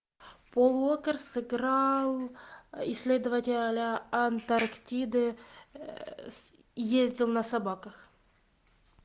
пол уокер сыграл исследователя антарктиды ездил на собаках